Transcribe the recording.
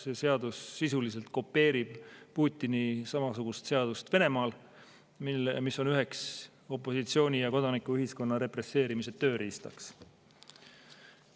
See seadus sisuliselt kopeerib Putini samasugust seadust Venemaal, mis on üks opositsiooni ja kodanikuühiskonna represseerimise tööriistu.